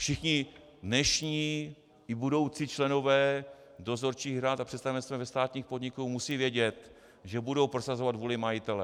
Všichni dnešní i budoucí členové dozorčích rad a představenstev ve státním podniku musí vědět, že budou prosazovat vůli majitele.